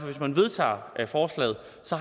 hvis man vedtager forslaget